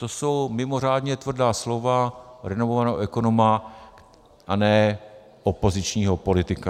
- To jsou mimořádně tvrdá slova renomovaného ekonoma a ne opozičního politika.